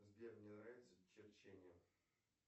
сбер мне нравится черчение